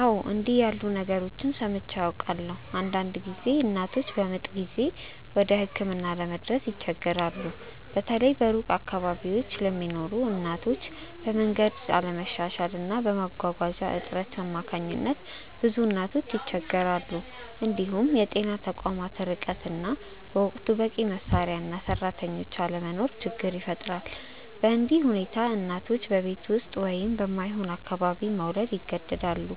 አዎ፣ እንዲህ ያሉ ነገሮችን ሰምቼ አውቃለሁ። አንዳንድ ጊዜ እናቶች በምጥ ጊዜ ወደ ሕክምና ለመድረስ ይቸገራሉ፤ በተለይ በሩቅ አካባቢዎች ለሚኖሩ እናቶች፤ በመንገድ አለመሻሻል እና በመጓጓዣ እጥረት አማካኝነት ብዙ እናቶች ይቸገራሉ። እንዲሁም የጤና ተቋማት ርቀት እና በወቅቱ በቂ መሳሪያ እና ሰራተኞች አለመኖር ችግር ይፈጥራል። በእንዲህ ሁኔታ እናቶች በቤት ውስጥ ወይም በማይሆን አካባቢ መውለድ ይገደዳሉ፣